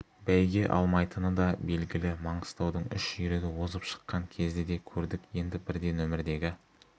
бәйге алмайтыны да белгілі маңғыстаудың үш жүйрігі озып шыққан кезді де көрдік енді бірде нөмірдегі